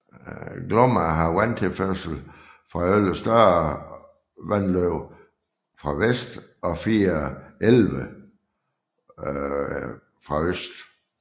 Glomma har vandtilførsel fra 11 større vandløb fra vest og 4 elve fra øst